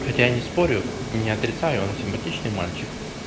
хотя не спорю не отрицаю он симпатичный мальчик